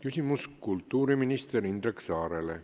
Küsimus kultuuriminister Indrek Saarele.